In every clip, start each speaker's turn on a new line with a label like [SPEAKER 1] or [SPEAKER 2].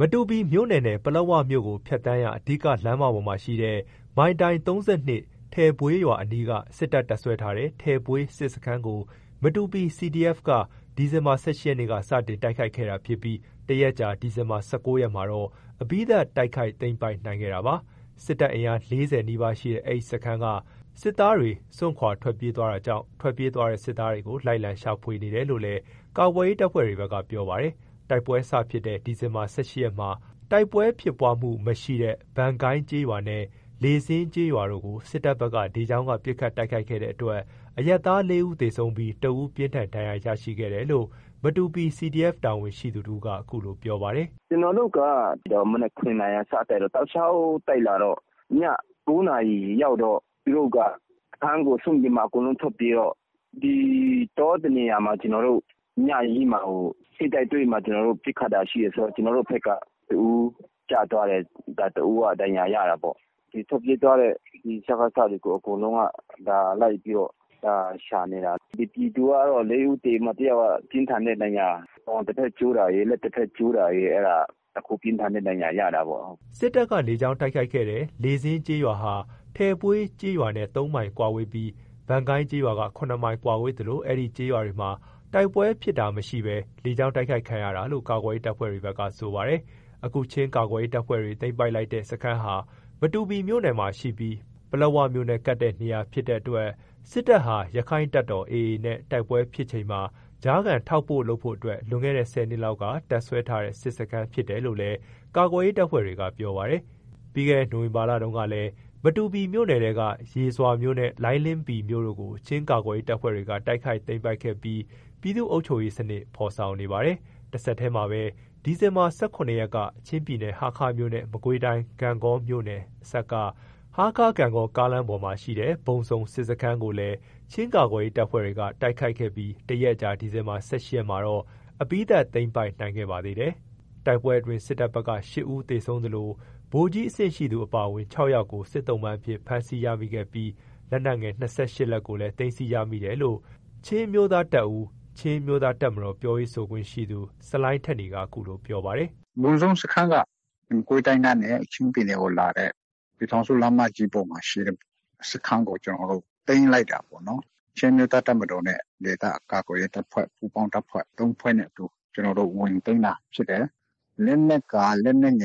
[SPEAKER 1] မတူပီမြို့နယ်နဲ့ ပလက်ဝမြို့ကို ဖြတ်သန်းရာ အဓိက လမ်းမပေါ်မှာရှိတဲ့ မိုင်တိုင် ၃၂ - ထယ်ဘွေးရွာအနီးက စစ်တပ် တပ်စွဲထားတဲ့ ထယ်ဘွေးစစ်စခန်းကို မတူပီ CDF က ဒီဇင်ဘာ ၁၈ ရက်က စတင်တိုက်ခိုက်ခဲ့တာ ဖြစ်ပြီး တရက်အကြာ ဒီဇင်ဘာ ၁၉ ရက်မှာတော့ အပြီးသတ် တိုက်ခိုက် သိမ်းပိုက်နိုင်ခဲ့တာပါ။ စစ်တပ်အင်အား ၄၀ နီးပါးရှိတဲ့ အဲ့ဒီစခန်းက စစ်သားတွေ စွန့်ခွါထွက်ပြေးသွားတာကြောင့် ထွက်ပြေးသွားတဲ့ စစ်သားတွေကို လိုက်လံရှာဖွေနေတယ်လို့ ကာကွယ်ရေး တပ်ဖွဲ့တွေဘက်က ပြောပါတယ်။ တိုက်ပွဲစဖြစ်တဲ့ ဒီဇင်ဘာ ၁၈ ရက်မှာ တိုက်ပွဲဖြစ်ပွါးမှုမရှိတဲ့ ဗန်ကိုင်းကျေးရွာနဲ့ လေဆင်းကျေးရွာတို့ကို စစ်တပ်ဘက်က လေကြောင်းက ပစ်ခတ်တိုက်ခိုက်ခဲ့တဲ့ အတွက် အရပ်သား ၄ ဦး သေဆုံးပြီး ၁ ဦး ပြင်းထန်ဒဏ်ရာရရှိခဲ့ တယ်လို့ မတူပီ CDF တာဝန်ရှိသူ တဦးက အခုလို ပြောပါတယ်။
[SPEAKER 2] “ကျွန်တော်တို့ မနက် ၇ နာရီမှာ စတိုက်တော့ တောက်လျှောက်တိုက်လာတော့ ည ၉ နာရီရောက်တော့ သူတို့က ထွက်ပြေးတာပေါ့။ အကုန်လုံးထွက်ပြေးတယ်ဆိုတော့ စခန်းကိုစွန့်ပြီးမှ အကုန်လုံး ထွက်ပြေးတယ်ဆိုတော့၊ တော တနေရာမှာ ညကြီး ကျွန်တော်တို့ ထိပ်တိုက်တွေ့ပြီးတော့ ပစ်ခတ်တာရှိတယ်။ ဆိုတော့ ကျွန်တော်တို့ဘက်က ၁ ဦးကျသွားတယ် ၁ ဦးက ဒဏ်ရာရသွားတယ်။ ထွက်ပြေးသွားတဲ့ စကစ တွေကို အကုန်လုံးက လိုက်ပြီးတော့ ရှာနေတာ။ လိုက်နေတာ အဲ့ဒီအခြေအနေတော့ရှိတယ်။ ပြည်သူက ၄ ဦး သေပြီး ၁ ဦးက ပြင်းထန်တဲ့ ဒဏ်ရာ၊ ပေါက်တဖက်ကျိုးတာရယ် လက်တဖက်ကျိုးတာရယ် ပြင်းထန်တဲ့ ဒဏ်ရာ ရတာပေါ့။
[SPEAKER 1] ” စစ်တပ်က လေကြောင်းတိုက်ခိုက်ခဲ့တဲ့ လေဆင်းကျေးရွာဟာ ထယ်ဘွေးကျေးရွာနဲ့ ၃ မိုင်ကွာဝေးပြီး ဗန်ကိုင်းကျေးရွာက ၇ မိုင်ကွာဝေးသလို အဲ့ဒီကျေးရွာတွေမှာ တိုက်ပွဲဖြစ်တာမရှိဘဲ လေကြောင်းတိုက်ခိုက်ခံရတာလို့ ကာကွယ်ရေးတပ်ဖွဲ့တွေက ဆိုပါတယ်။ အခုချင်းကာကွယ်ရေးတပ်ဖွဲ့တွေ သိမ်းပိုက်လိုက်တဲ့စခန်းဟာ မတူပီမြို့နယ်ထဲမှာရှိပြီး ပလက်ဝမြို့နဲ့ ကပ်တဲ့ နေရာဖြစ်တဲ့အတွက် စစ်တပ်ဟာ ရခိုင့်တပ်မတော် နဲ့ တိုက်ပွဲဖြစ်ချိန်မှာ ကြားခံ ထောက်ပို့လုပ်ဖို့အတွက် လွန်ခဲ့တဲ့ ၁၀ နှစ်လောက်က တပ်စွဲထားတဲ့ စစ်စခန်းဖြစ်တယ်လို့လည်း ကာကွယ်ရေး တပ်ဖွဲ့တွေက ပြောပါတယ်။ ပြီးခဲ့တဲ့ နိုဝင်ဘာလတုန်းကလည်း မတူပီမြို့နယ်ထဲက ရေဇွာမြို့နဲ့ လိုင်းလင်းပီမြို့တို့ကို ချင်းကာကွယ်ရေး တပ်ဖွဲ့တွေက တိုက်ခိုက်သိမ်းပိုက်ခဲ့ပြီး ပြည်သူ့အုပ်ချုပ်ရေး စနစ်ဖော်ဆောင်နေပါတယ်။ တဆက်တည်းမှာပဲ ဒီဇင်ဘာ ၁၇ ရက်က ချင်းပြည်နယ် ဟားခါးမြို့နဲ့ မကွေးတိုင်း ဂန့်ဂေါ မြို့နယ်အစပ်က ဟားခါး-ဂန့်ဂေါ ကားလမ်းပေါ်မှာရှိတဲ့ ဘုံဇုံ စစ်စခန်းကိုလည်း ချင်းကာကွယ်ရေး တပ်ဖွဲ့တွေက တိုက်ခိုက်ခဲ့ပြီး ၁ ရက်အကြာ ဒီဇင်ဘာ ၁၈ ရက်မှာတော့ အပြီးသတ်သိမ်းပိုက်နိုင်ခဲ့ပါသေးတယ်။ တိုက်ပွဲအတွင်း စစ်တပ်ဘက်က ၈ ဦး သေဆုံးသလို ဗိုလ်ကြီးအဆင့်ရှိသူ အပါအဝင် ၆ ယောက်ကို စစ်သုံ့ပန်း အဖြစ် ဖမ်းဆီးရမိခဲ့ပြီး လက်နက်ငယ် ၂၈ လက်ကိုလည်း သိမ်းဆည်းရမိတယ်လို့ ချင်းအမျိုးသားတပ်ဦး - ချင်းအမျိုးသား တပ်မတော် ပြောရေးဆိုခွင့်ရှိသူ ဆလိုင်းထက်နီက အခုလို ပြောပြပါတယ်
[SPEAKER 3] ။ “ဘုံဇုံစခန်းက မကွေးတိုင်းကနေ ချင်းပြည်နယ်ကိုလာတဲ့ ပြည်ထောင်စုလမ်းမကြီးပေါ်မှာရှိတဲ့စခန်းကို ကျွန်တော်တို့ သိမ်းလိုက်တာပေါ့နော်။ ချင်းအမျိုးသားတပ်မတော်နဲ့ဒေသကာကွယ်ရေး ပူးပေါင်းတပ်ဖွဲ့ ၃ ဖွဲ့နဲ့အတူ ဝင်သိမ်းတာဖြစ်တယ်။ လက်နက်ငယ် ၂၈ လက်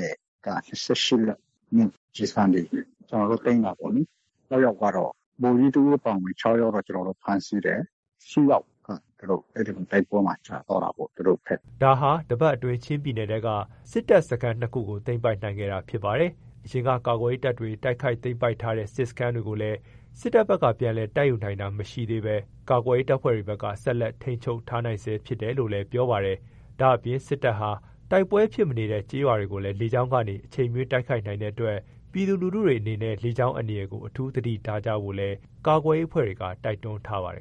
[SPEAKER 3] ကျည်ဆံတွေ ကျွန်တော်တို့ သိမ်းတာပေါ့လေ။ ဗိုလ်ကြီး ၁ ဦးအပါအဝင် ၆ ယောက်ကတော့ ကျွန်တော်တို့ ဖမ်းဆီးတယ်။ ၈ ယောက်ကတော့ အဲ့ဒီတိုက်ပွဲမှာ ကျသွားတာပေါ့။ သူတို့
[SPEAKER 1] ဘက်က။” ဒါဟာ တပတ်အတွင်း ချင်းပြည်နယ်ထဲက စစ်တပ် တပ်စခန်း ၂ ခုကို သိမ်းပိုက်နိုင်ခဲ့တာဖြစ်ပါတယ်။ အရင်က ကာကွယ်ရေးတပ်တွေ တိုက်ခိုက်သိမ်းပိုက်ထားတဲ့ စစ်စခန်းတွေကိုလည်း စစ်တပ်ဘက်က ပြန်လည် တိုက်ယူနိုင်တာ မရှိသေးဘဲ ကာကွယ်ရေး တပ်ဖွဲကတွေဘက်က ဆက်လက်ထိန်းချုပ်ထားနိုင်ဆဲ ဖြစ်တယ်လို့လည်း ပြောပါတယ်။ ဒါ့အပြင် စစ်တပ်ဟာ တိုက်ပွဲဖြစ်မနေတဲ့ ကျေးရွာတွေကိုလည်း လေကြောင်းကနေ အချိန်မရွေး တိုက်ခိုက်နိုင်တဲ့ အတွက် ပြည်သူလူထုတွေအနေနဲ့ လေကြောင်းအန္တရာယ်ကို အထူး သတိထားကြဖို့ လည်း ကာကွယ်ရေးအဖွဲ့ တွေက တိုက်တွန်းထားပါတယ်